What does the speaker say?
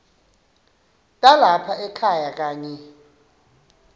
talapha ekhaya kanye